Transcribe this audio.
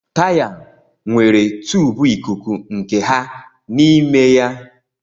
Taya nwere tùbù ikuku nke ha n'ime ya